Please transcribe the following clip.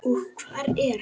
Og hvar er hann?